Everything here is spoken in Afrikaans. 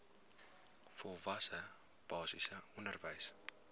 volwasse basiese onderwys